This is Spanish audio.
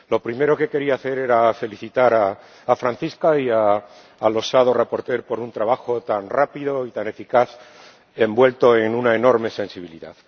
Lo primero que quería hacer era felicitar a Francisca y al osado ponente por un trabajo tan rápido y tan eficaz envuelto en una enorme sensibilidad.